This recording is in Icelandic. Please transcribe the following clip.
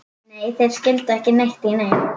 Nei, þeir skildu ekki neitt í neinu.